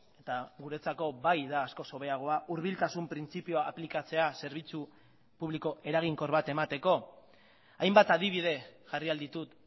eta guretzako bai da askoz hobeagoa hurbiltasun printzipioa aplikatzea zerbitzu publiko eraginkor bat emateko hainbat adibide jarri ahal ditut